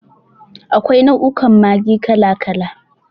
Akwai nau'ukan Maggi kala kala.